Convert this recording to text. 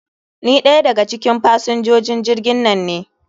Ni ɗaya daga cikin fasinjojin jirgin nan ne.